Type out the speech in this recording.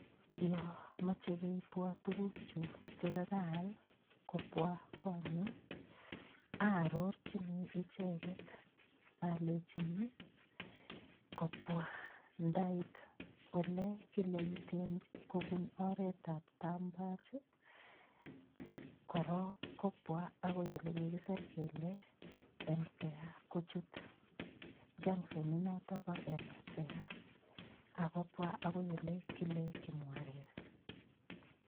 Yo mochei keibwo tukukchu chekakaal kobwa konyu aarorchini icheget alechini kobwa ndait ole kile iten kobun oretab tambach korok kobwa akoi ole kikiser kele emsea kochut junctionit noto bo emsea akobwa akoi ole kile kimwarer